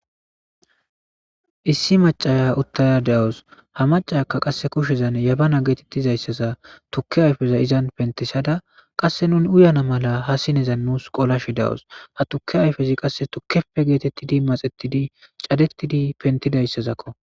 Issi machchay uttadda dawus ha machchaykka kushshezan yabana gettetizayssaza tuke ayfeza izan pentisadda qasse nuni uyana malla ha sinezan nussi qollashshe dawus ha tuke ayfey qasekka tuke ayfe gettetidi massetidi cadettidi pentiddaysazakko